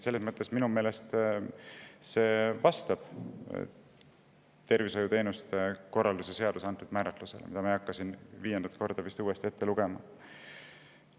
Selles mõttes see minu meelest vastab tervishoiuteenuste korraldamise seaduses toodud määratlusele, mida ma ei hakka siin viiendat korda ette lugema.